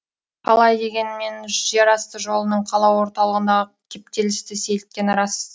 қалай дегенмен жерасты жолының қала орталығындағы кептелісті сейілткені рас